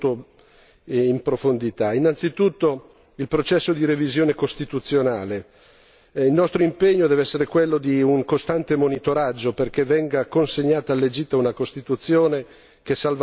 Innanzitutto, il processo di revisione costituzionale il nostro impegno deve essere quello di un costante monitoraggio perché venga consegnata all'Egitto una Costituzione che salvaguardi i diritti e le libertà delle persone.